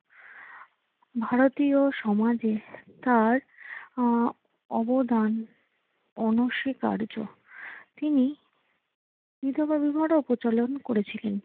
ভারতীয় সমাজে তার আহ অবদান অনস্বীকার্য। তিনি বিধবা বিবাহেরও প্রচলন করেছিলেন।